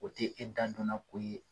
O tɛ e dan donna ko ye.